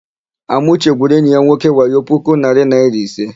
Amauche gwuru enyi ya nwoke wayo puku narị naịra ise.